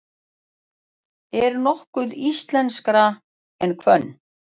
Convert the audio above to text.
Er nokkuð íslenskara en hvönn?